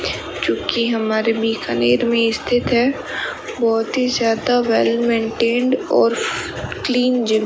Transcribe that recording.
क्योंकि हमारे बीकानेर में स्थित है बहुत ही ज्यादा वेल मेंटेंड और क्लीन जिम --